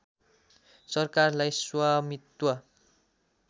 सरकारलाई स्वामित्व